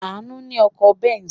Àánú ní ọkọ̀ Benz.